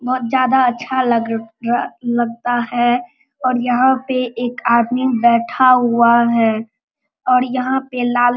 बहुत ज्यादा अच्छा लग लगता है और यहां पे एक आदमी बैठा हुआ है और यहां पे लाल --